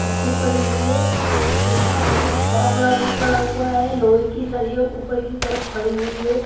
पट्टी पड़ी हुई है यहां पर एक फावड़ा भी पड़ा हुआ है लोहे की सरियां ऊपर की तरफ खड़ी हुई हैं।